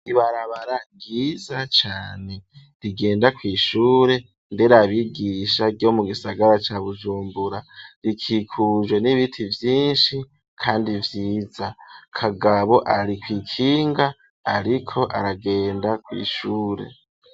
Ibarabara ryiza cane rigenda kw'ishure nderabigisha ryo mu gisagara ca Bujumbura, rikikujwe n'ibiti vyinshi kandi vyiza, Kagabo ari kw,ikinga ariko aragenda kw'ishure.